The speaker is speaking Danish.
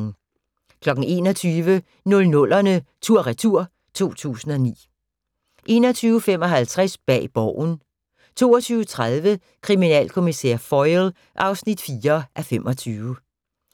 21:00: 00'erne tur/retur: 2009 21:55: Bag Borgen 22:30: Kriminalkommissær Foyle (4:25)